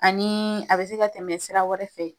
Ani a bɛ se ka tɛmɛ sira wɛrɛ fɛ.